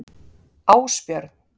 Ásbjörn